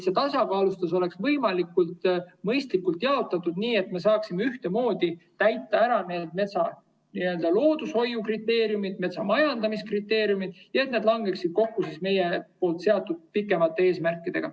See tasakaalustatus peaks olema võimalikult mõistlikult jaotatud, nii et me saaksime ühtemoodi täita ära loodushoiukriteeriumid ja metsamajandamise kriteeriumid ning need langeksid kokku meie seatud pikemate eesmärkidega.